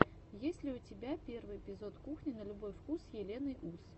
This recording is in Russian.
есть ли у тебя первый эпизод кухни на любой вкус с еленой ус